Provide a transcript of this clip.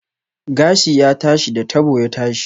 Gashi ya tashi, da tabo ya tashi